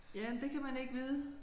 Ja det kan man ikke vide